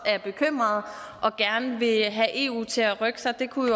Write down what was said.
er bekymrede og gerne vil have eu til at rykke sig det kunne